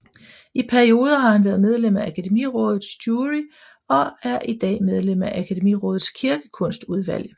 I perioder har han været medlem af Akademirådets jury og er i dag medlem af Akademirådets kirkekunstudvalg